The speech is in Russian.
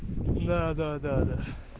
да-да-да